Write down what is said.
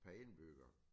Per indbygger